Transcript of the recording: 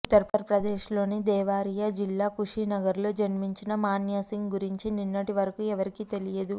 ఉత్తర్ప్రదేశ్లోని దేవరియా జిల్లా కుషినగర్లో జన్మించిన మాన్యా సింగ్ గురించి నిన్నటి వరకు ఎవరికీ తెలియదు